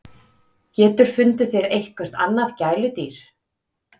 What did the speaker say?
GETUR FUNDIÐ ÞÉR EITTHVERT ANNAÐ GÆLUDÝR!